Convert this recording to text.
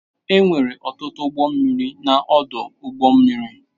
Enwere ọtụtụ ụgbọ mmiri na ọdụ ụgbọ mmiri.